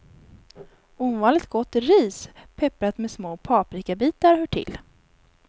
Ovanligt gott ris pepprat med små paprikabitar hör till.